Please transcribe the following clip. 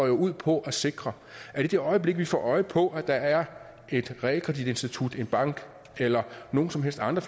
jo ud på at sikre at i det øjeblik vi får øje på at der er et realkreditinstitut en bank eller nogen som helst andre